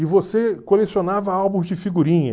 E você colecionava álbuns de figurinha.